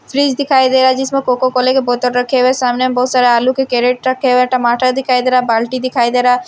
Fridge दिखाई दे रहा है जिसमें कोका कोले के बोतल रखे हुए हैं सामने में बहुत सारे आलू के कैरेट रखे हुए हैं टमाटर दिखाई दे रहा है बाल्टी दिखाई दे रहा है।